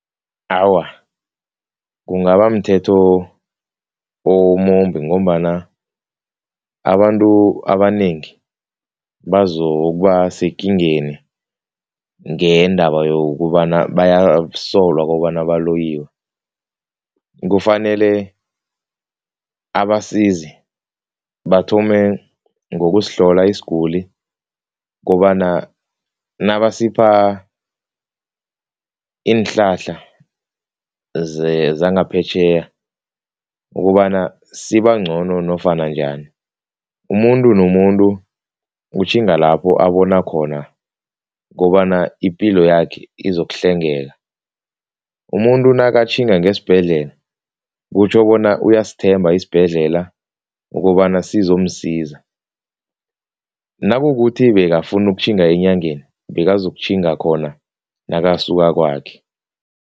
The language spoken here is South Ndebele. Awa, kungabamthetho omumbi ngombana abantu abanengi bazokuba sekingeni ngendaba yokobana bayasolwa kobana baloyiwe. Kufanele abasizi bathome ngokusihlola isiguli kobana nabasipha iinhlahla zangaphetjheya ukobana sibangcono nofana njani. Umuntu nomuntu utjhinga lapho abona khona kobana ipilo yakhe izokuhlengeka, umuntu nakatjhinga ngesibhedlela kutjho bona uyasithemba isibhedlela ukobana sizomsiza. Nakukuthi bekafuna ukutjhinga enyangeni, bekazokutjhinga khona nakasuka kwakhe.